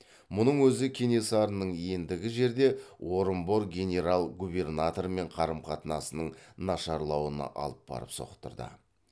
мұның өзі кенесарының ендігі жерде орынбор генерал губернаторымен қарым қатынасының нашарлауына алып барып соқтырды